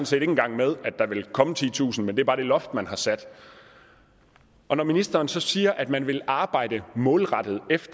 set ikke engang med at der vil komme titusind men det er bare det loft man har sat når ministeren så siger at man vil arbejde målrettet